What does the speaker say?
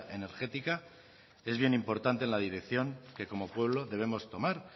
energética es bien importante en la dirección que como pueblo debemos tomar